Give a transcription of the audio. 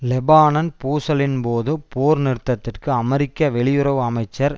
Lebanon பூசலின்போது போர் நிறுத்தத்திற்கு அமெரிக்க வெளியுறவு அமைச்சர்